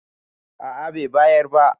a a Bai bayar ba